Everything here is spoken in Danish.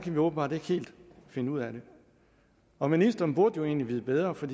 vi åbenbart ikke helt finde ud af det og ministeren burde jo egentlig vide bedre for